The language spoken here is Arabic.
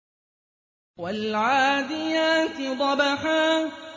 وَالْعَادِيَاتِ ضَبْحًا